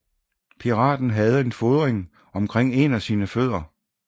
Piraten havde en fodring omkring en af sine fødder